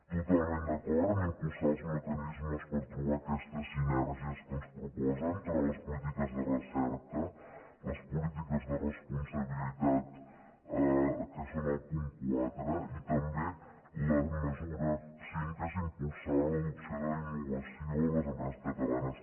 totalment d’acord a impulsar els mecanismes per trobar aquestes sinergies que ens proposen per a les polítiques de recerca les polítiques de responsabilitat que són el punt quatre i també la mesura cinc que és impulsar l’adopció d’innovació a les empreses catalanes